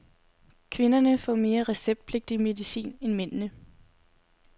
Kvinderne får mere receptpligtig medicin end mændene.